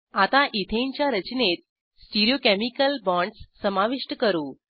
आता इथेनच्या रचनेत स्टिरीओकेमिकल बाँडस समाविष्ट करू